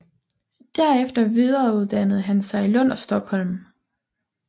Derefter videreuddannede han sig i Lund og Stockholm